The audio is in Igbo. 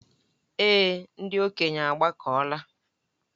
Èé, ndị okenye agbakọla.